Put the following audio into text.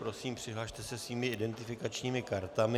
Prosím, přihlaste se svými identifikačními kartami.